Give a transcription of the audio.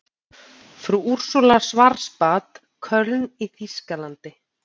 Frú Úrsúla Schwarzbad, Köln í þýskalandi.